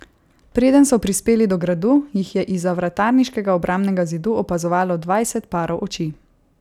Preden so prispeli do gradu, jih je izza vratarniškega obrambnega zidu opazovalo dvajset parov oči.